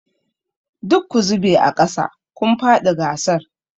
Duk ku zube aƙasa! kun faɗi gasar.